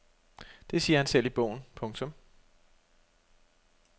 Det siger han selv i bogen. punktum